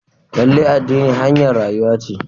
Lallai addini hanyar rayuwa ce.